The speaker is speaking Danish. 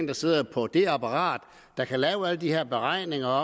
der sidder på det apparat der kan lave alle de her beregninger